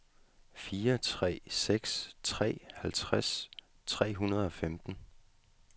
fire tre seks tre halvtreds tre hundrede og femten